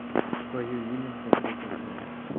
твое имя смотреть онлайн